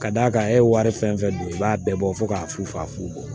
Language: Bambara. Ka d'a kan e ye wari fɛn fɛn dun i b'a bɛɛ bɔ fo k'a fu fa fu